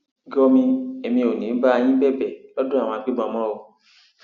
gọmi èmi ò ní í bá yín bẹbẹ lọdọ àwọn àgbébọn mọ o